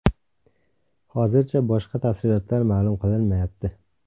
Hozircha boshqa tafsilotlar ma’lum qilinmayapti.